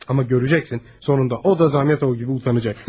Amma görəcəksən, sonunda o da Zamyatov kimi utanacaq.